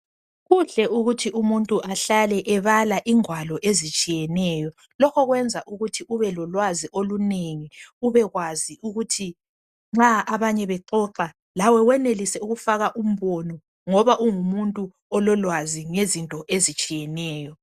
Kuhle ukuthi umuntu ahlale ebala ingwalo ezitshiyeneyo. Lokho kwenza ukuthi ube lolwazi olunengi, ubekwazi ukuthi nxa abanye bexoxa lawe wenelise ukufaka umbono ngoba ungumuntu ololwazi ngezinto ezitshiyeneyo.